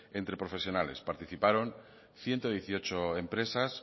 entre profesionales participaron ciento dieciocho empresas